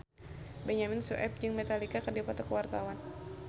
Benyamin Sueb jeung Metallica keur dipoto ku wartawan